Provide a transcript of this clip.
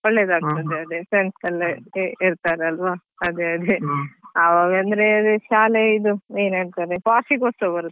ಒಳ್ಳೆದಾಗ್ತದೆ ಎಲ್ಲ friends ಎಲ್ಲ ಇರ್ತಾರಲ್ವಾ ಅದೇ ಅದೇ ಆವಾಗಂದ್ರೆ ಅದೇ ಶಾಲೆಲಿ ಇದು ಏನಂತಾರೆ ವಾರ್ಷಿಕೋತ್ಸವ ಬರುತ್ತಲ್ವಾ.